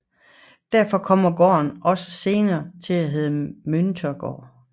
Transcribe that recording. Derfor kom gården også senere til at hedde Møntergården